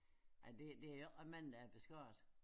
Ej det det ikke mange der er beskåret